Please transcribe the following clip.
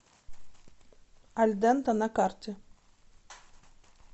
альдента на карте